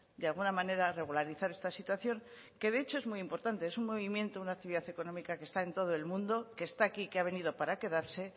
de alguna manera regularizar esta situación que de hecho es muy importante es un movimiento una actividad económica que está en todo el mundo que está aquí que ha venido para quedarse